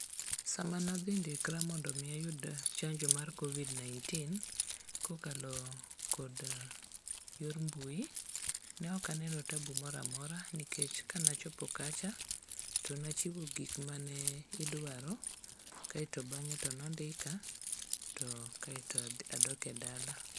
Sama nadhindikra mondo omi ayud chanjo mar covid-19, kokalo kod yor mbui, ne ok aneno tabu moro amora nikech kanachopo kacha, to nachiwo gik mane idwaro kaeto bang'e to nondika to kaeto adok e dala.